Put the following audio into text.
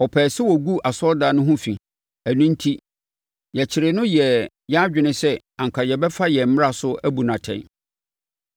Ɔpɛɛ sɛ ɔgu asɔredan no ho fi. Ɛno enti, yɛkyeree no yɛɛ yɛn adwene sɛ anka yɛbɛfa yɛn mmara so abu no atɛn.